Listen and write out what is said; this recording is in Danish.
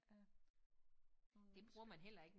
Af nogle mennesker